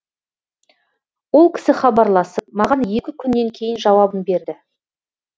ол кісі хабарласып маған екі күннен кейін жауабын берді